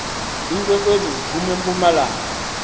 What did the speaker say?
iinkwenkwezi ziphum empumalanga